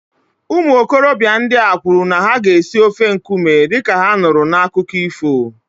Ụmụ okorobịa ndị a kwuru na ha ga-esi ofe nkume dị ka ha nụrụ n'akụkọ ifo